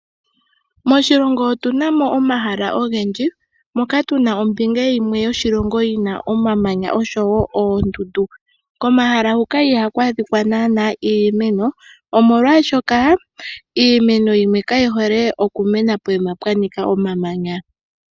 Moshilongo otuna mo omahala ogendji moka tuna ombinga yimwe yoshilongo yi na omamanya oshowo oondundu. Komahala huka ihaku adhika naanaa iimeno omolwaashoka iimeno yimwe kayi hole okumena pokuma pwa nika omamanya.